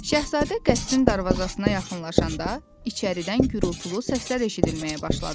Şahzadə qəsrin darvazasına yaxınlaşanda, içəridən gurultulu səslər eşidilməyə başladı.